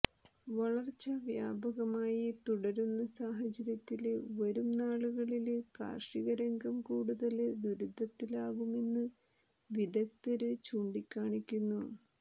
വരള്ച്ച വ്യാപകമായി തുടരുന്ന സാഹചര്യത്തില് വരും നാളുകളില് കാര്ഷികരംഗം കൂടുതല് ദുരിതത്തിലാകുമെന്ന് വിദഗ്ദ്ധര് ചൂണ്ടിക്കാണിക്കുന്നു